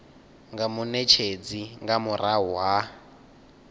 nga munetshedzi nga murahu ha